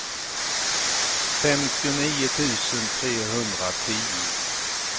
femtionio tusen trehundratio